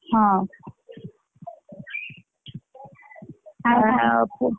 ହଁ ।